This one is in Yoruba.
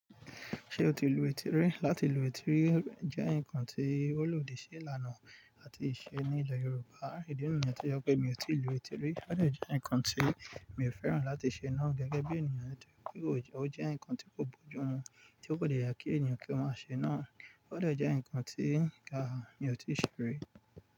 Ṣé o ti lu etí rí? Lati lu etí rí jẹ́ nǹkan tí ó lòdì sí ìlànà àti ìṣe ní ìjọ Yorùbá. Idi nìyẹn tó je pé mi ò tí lu etí rí. Ó de jẹ́ ǹkan tí mi ò fẹ́ràn láti ṣe náà gẹ́gẹ́ bí ènìyàn nítorí pé ò jẹ́, ó jẹ́ ǹkan tí kò bójú mu tí kò de ye kí ènìyàn kí wọ́n má ṣe náà. Ó dọ̀ jẹ́ ǹkan tí mi ò tí ṣe rí.